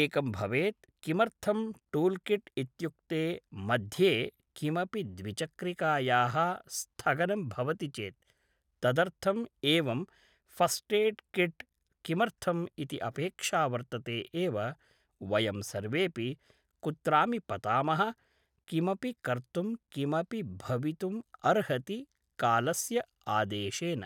एकं भवेत् किमर्थम् टूल् किट् इत्युक्ते मध्ये किमपि द्विचक्रिकायाः स्थगनं भवति चेत् तदर्थम् एवं फ़ष्टेड् किट् किमर्थम् इति अपेक्षा वर्तते एव वयं सर्वेऽपि कुत्रापि पतामः किमपि कर्तुं किमपि भवितुम् अर्हति कालस्य आदेशेन